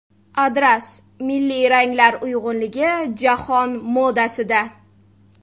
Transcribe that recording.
Adras: milliy ranglar uyg‘unligi jahon modasida.